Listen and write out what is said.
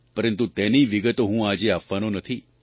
પરંતુ તેની વિગતો હું આજે આપવાનો નથી